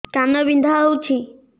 କାନ ବିନ୍ଧା ହଉଛି